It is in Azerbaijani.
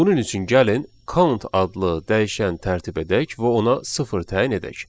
Bunun üçün gəlin count adlı dəyişən tərtib edək və ona sıfır təyin edək.